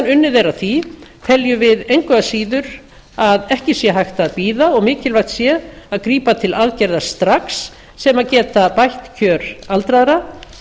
unnið er að því teljum við engu að síður að ekki sé hægt að bíða og mikilvægt sé að grípa til aðgerða strax sem geta bætt kjör aldraðra